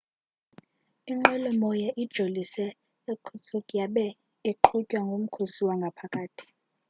inqwelomoya ijolise e-irkutsk yabe iqhutywa ngukhosi wangaphakathi